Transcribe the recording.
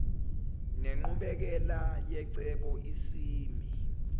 nenqubekela yecebo isimi